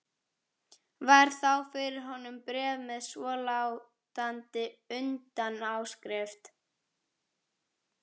Varð þá fyrir honum bréf með svolátandi utanáskrift